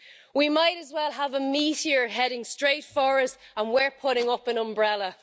We might as well have a meteor heading straight for us, and we're putting up an umbrella.